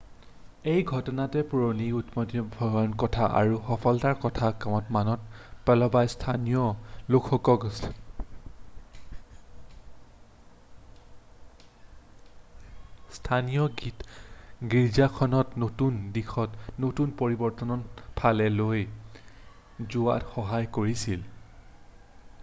এই ঘটনাটোত পুৰণি উদ্বোমীয় স্বভাৱৰ কথা আৰু সফলতাৰ কথা মনত পেলোৱাই স্থানীয় লোকসকলক স্থানীয় গীৰ্জাখনক নতুন দিশত নতুন পৰিৱৰ্তনৰ ফালে লৈ যোৱাত সহায় কৰিছিল